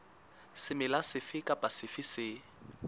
semela sefe kapa sefe se